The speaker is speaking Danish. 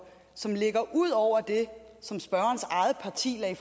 som ligger ud over det som spørgerens eget parti lagde